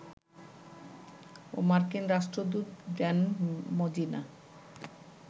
ও মার্কিন রাষ্ট্রদূত Dan Mozena